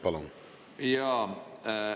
Palun!